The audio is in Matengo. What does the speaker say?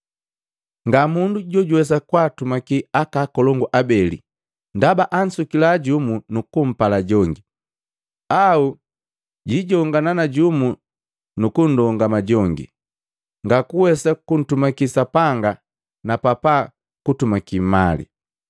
Nga mundu jojuwesa kwaatumaki akakolongu abeli, ndaba ansukila jumu nukumpala jongi, au jijongana na jumu kundongama jongi. Ngakuwesa kuntumaki Sapanga napapa nukutumaki mali.